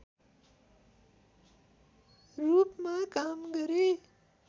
रूपमा काम गरे